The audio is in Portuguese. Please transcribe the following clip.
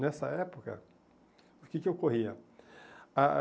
Nessa época, o que que ocorria? A